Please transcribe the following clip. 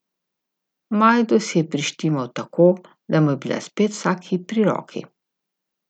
Majdo si je prištimal tako, da mu je bila spet vsak hip pri roki.